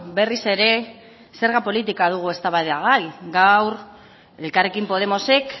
berriz ere zerga politika dugu eztabaidagai gaur elkarrekin podemosek